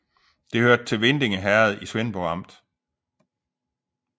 Det hørte til Vindinge Herred i Svendborg Amt